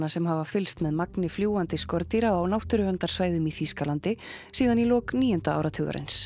sem hafa fylgst með magni fljúgandi skordýra á náttúruverndarsvæðum í Þýskalandi síðan í lok níunda áratugarins